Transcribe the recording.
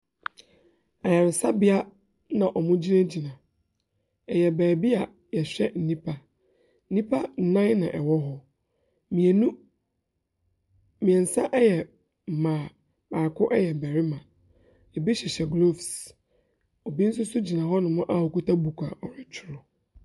Ayaresabea na wɔgyinagyina. Ɛyɛ baabi a wɔhwɛ nnipa. Nnipa nnan na wɔwɔ hɔ. Mmienu mmeɛnsa yɛ mmaa, baako yɛ barima. Bi hyehyɛ gloves. Obi nso so gyina hɔnom a ɔkita book a ɔretwerɛ.